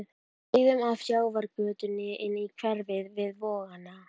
Við sveigðum af sjávargötunni inn í hverfið við Vogana.